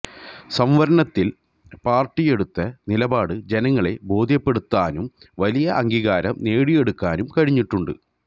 സംവരണത്തില് പാര്ടിയെടുത്ത നിലപാട് ജനങ്ങളെ ബോധ്യപ്പെടുത്താനും വലിയ അംഗീകാരം നേടിയെടുക്കാനും കഴിഞ്ഞിട്ടുണ്ട്